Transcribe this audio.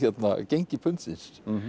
gengi pundsins